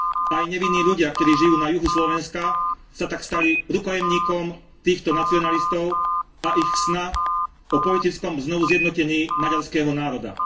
Aj nevinní ľudia, ktorí žijú na juhu Slovenska, sa tak stali rukojemníkom týchto nacionalistov a ich sna o politickom znovuzjednotení maďarského národa.